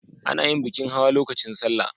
A na yin bikin hawa lokacin salla